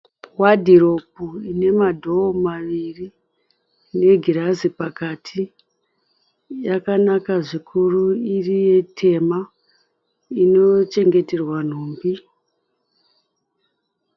Wadhiropu ine madhoo maviri negirazi pakati. Yakanaka zvikuru iri yetema. Inochengeterwa nhumbi.